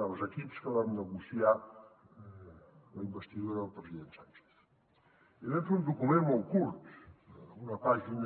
dels equips que vam negociar la investidura del president sánchez i vam fer un document molt curt una pàgina